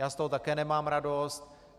Já z toho také nemám radost.